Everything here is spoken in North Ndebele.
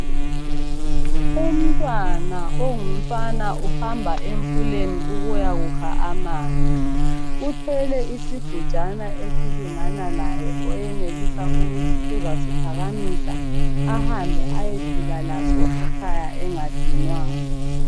Umntwana ongumfana uhamba emfuleni ukuya kukha amanzi. Uthwele isigujana esilingana laye oyenelisa ukuthi uzasiphakamisa ahambe ayefika laso ekhaya engadinwanga.